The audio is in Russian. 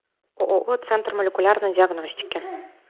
ооо центр молекулярной диагностики